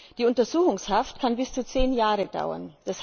Die Untersuchungshaft kann bis zu zehn Jahre dauern.